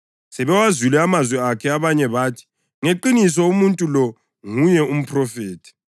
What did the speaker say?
Sebewazwile amazwi akhe abanye bathi, “Ngeqiniso umuntu lo nguye umphrofethi.”